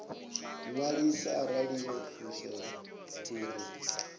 ṅwaliswa arali yo fushea uri